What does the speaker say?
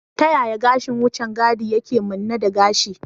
Ta yaya gashin wucin gadi yake manne da gashi?